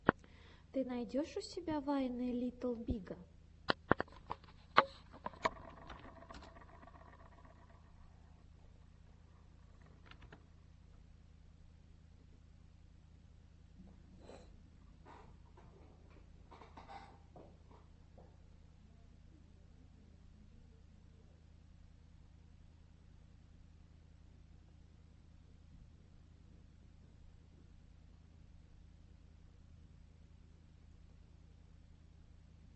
ты найдешь у себя вайны литтл бига